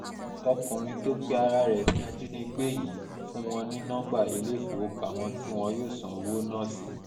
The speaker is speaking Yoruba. ọkùnrin tó pe ara rẹ̀ ní ajínigbé yìí fún wọn ní nọmba ilé-ìfowópamọ́ tí wọn yóò san owó náà sí